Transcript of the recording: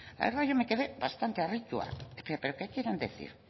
la verdad yo me quedé bastante harrituta qué quieren decir